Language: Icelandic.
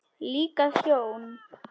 Líka ljón.